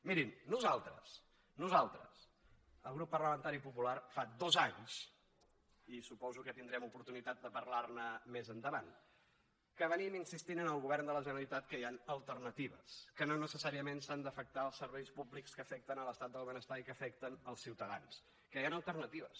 mirin nosaltres nosaltres el grup parlamentari popular fa dos anys i suposo que tindrem oportunitat de parlar ne més endavant que anem insistint al govern de la generalitat que hi han alternatives que no necessàriament s’han d’afectar els serveis públics que afecten l’estat del benestar i que afecten els ciutadans que hi han alternatives